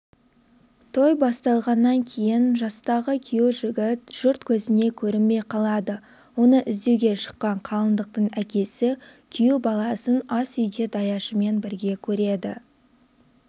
той басталғаннан кейін жастағы күйеужігіт жұрт көзіне көрінбей қалады оны іздеуге шыққан қалыңдықтың әкесі күйеу баласын асүйде даяшымен бірге көреді